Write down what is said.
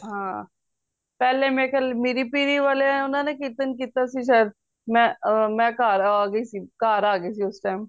ਹਾਂ ਪਹਿਲੇ ਮੇਰੇ ਖਿਆਲ ਮੀਰੀ ਪੀਰੀ ਵਾਲੇ ਓਹਨਾ ਨੇ ਕੀਰਤਨ ਕੀਤਾ ਸੀ ਸ਼ਾਇਦ ਮਈ ਘਰ ਆ ਗਯੀ ਸੀ ਉਸ time